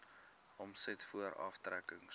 omset voor aftrekkings